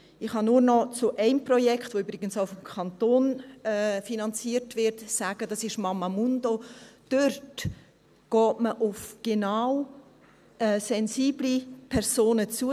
Ich kann nur noch zu einem Projekt, das übrigens vom Kanton finanziert wird, sagen – es ist «Mamamundo» –, dort geht man genau auf sensible Personen zu.